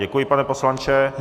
Děkuji, pane poslanče.